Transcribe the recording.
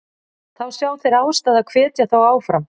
Þá sjá þeir ástæðu að hvetja þá áfram.